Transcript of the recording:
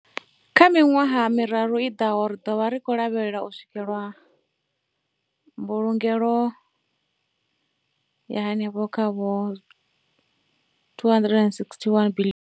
Kha miṅwaha miraru i ḓaho, ri khou lavhelela u swikela mbulungelo ya henefha kha R261 biḽioni.